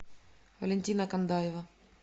валентина кандаева